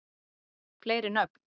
fleiri nöfn